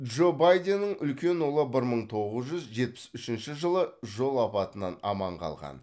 джо байденнің үлкен ұлы бір мың тоғыз жүз жетпіс үшінші жылы жол апатынан аман қалған